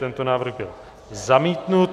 Tento návrh byl zamítnut.